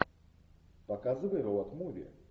показывай роуд муви